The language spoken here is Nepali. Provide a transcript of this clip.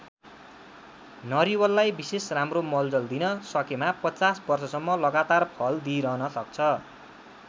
नरिवललाई विशेष राम्रो मलजल दिन सकेमा ५० वर्षसम्म लगातार फल दिइरहन सक्छ।